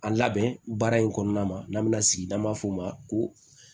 A labɛn baara in kɔnɔna na n'an bɛna sigi n'an b'a fɔ o ma ko